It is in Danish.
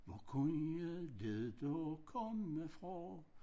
Hvor kunne det da komme fra